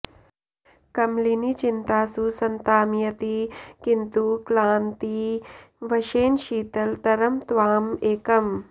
कमलिनी चिन्तासु सन्ताम्यति किन्तु क्लान्ति वशेन शीतल तरम् त्वाम् एकम्